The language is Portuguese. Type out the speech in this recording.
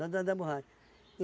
Soldado da borracha.